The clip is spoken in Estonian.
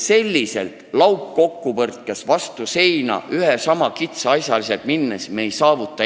Selliselt laupkokkupõrkes vastu seina joostes, ühele ja samale asjale kitsalt lähenedes me edu ei saavuta.